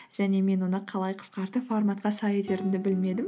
және мен оны қалай қысқартып форматқа сай етерімді білмедім